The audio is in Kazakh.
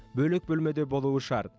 бөлек бөлмеде болуы шарт